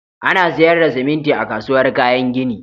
Ana sayar da siminti a kasuwar kayan gini.